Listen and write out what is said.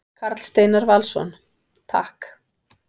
Karl Steinar Valsson: Takk.